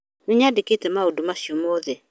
Nĩnyandĩkĩte maũndũ macio mothe